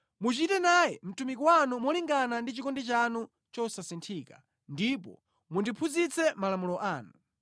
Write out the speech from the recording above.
Muchite naye mtumiki wanu molingana ndi chikondi chanu chosasinthika, ndipo mundiphunzitse malamulo anu.